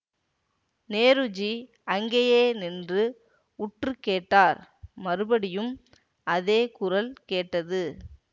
நேருஜி அங்கேயே நின்று உற்று கேட்டார் மறுபடியும் அதே குரல் கேட்டது